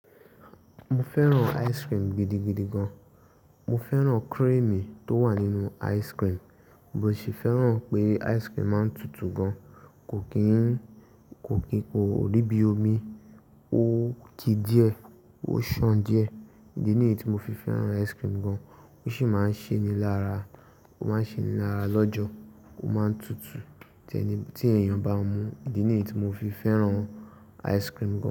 Mo fẹ́ràn ice cream gidigidi gan. Mo fẹ́ràn cream tó wà nínú ice cream, mo sì fẹ́ràn pé ice cream máa ń tutù gan, kò kí n kò kí kò rí bí omi, ó ki díẹ̀, ó ṣàn díẹ̀. Ìdí nìyí tí mo fi fẹ́ràn ice cream gan, ó sì máa ń ṣe mi lára, ó máa ń ṣe mi lára lọ́jọ́, ó máa ń tutù tí ẹni tí èèyàn bá mu. Ìdí nìyí tí mo fi fẹ́ràn ice cream gan.